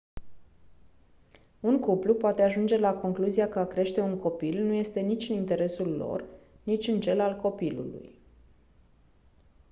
un cuplu poate ajunge la concluzia că a crește un copil nu este nici în interesul lor nici în cel al copilului